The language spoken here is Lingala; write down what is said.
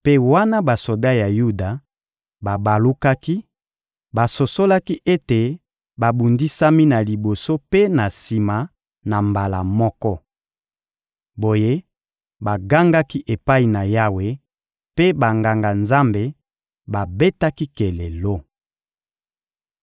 Mpe wana basoda ya Yuda babalukaki, basosolaki ete babundisami na liboso mpe na sima na mbala moko. Boye, bagangaki epai na Yawe, mpe Banganga-Nzambe babetaki kelelo.